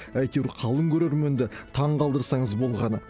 әйтеуір қалың көрерменді таңғалдырсаңыз болғаны